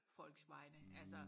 folks vegne altså